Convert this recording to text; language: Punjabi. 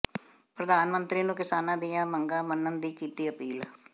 ਪ੍ਧਾਨ ਮੰਤਰੀ ਨੂੰ ਕਿਸਾਨਾਂ ਦੀਆਂ ਮੰਗਾਂ ਮੰਨਣ ਦੀ ਕੀਤੀ ਅਪੀਲ